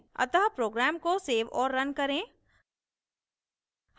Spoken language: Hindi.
अतः program को so और रन करें